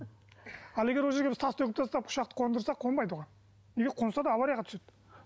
ал егер ол жерге біз тас төгіп тастап ұшақты қондырсақ қонбайды оған қонса да аварияға түседі